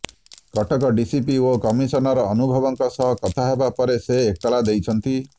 Cuttack DCP ଓ commissioner ଅନୁଭବଙ୍କ ସହ କଥା ହେବା ପରେ ସେ ଏତଲା ଦେଇଛନ୍ତି